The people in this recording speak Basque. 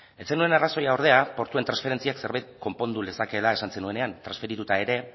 ez zenuen arrazoia ordea portuen transferentziak zerbait konpondu lezakeela esan zenuenean transferituta ere